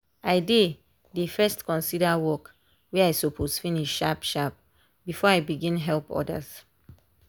i dey dey first consider work wey i suppose finish sharp sharp before i begin help others.